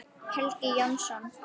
Helgi Jónsson